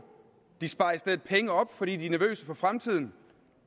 de sparer i stedet penge op fordi de er nervøse for fremtiden